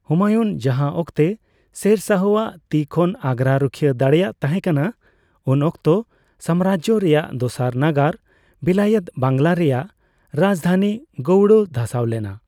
ᱦᱩᱢᱟᱭᱩᱱ ᱡᱟᱸᱦᱟ ᱚᱠᱛᱮ ᱥᱮᱨ ᱥᱟᱦᱚ ᱟᱜ ᱛᱤ ᱠᱷᱚᱱ ᱟᱜᱨᱟ ᱨᱩᱠᱷᱤᱭᱟᱹ ᱫᱟᱲᱮᱭᱟᱜ ᱛᱟᱦᱮ ᱠᱟᱱᱟ, ᱩᱱ ᱚᱠᱛᱚ ᱥᱟᱢᱨᱟᱡᱡᱚ ᱨᱮᱱᱟᱜ ᱫᱚᱥᱟᱨ ᱱᱟᱜᱟᱨ ᱵᱤᱞᱟᱭᱮᱛ ᱵᱟᱝᱞᱟ ᱨᱮᱱᱟᱜ ᱨᱟᱡᱫᱷᱟᱱᱤ ᱜᱳᱲᱚ ᱫᱷᱟᱥᱟᱣ ᱞᱮᱱᱟ ᱾